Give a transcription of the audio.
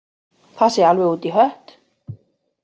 Það sé alveg út í hött